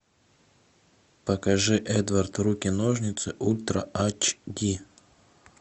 покажи эдвард руки ножницы ультра эйч ди